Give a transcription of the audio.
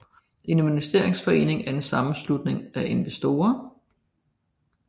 En investeringsforening er en sammenslutning af investorer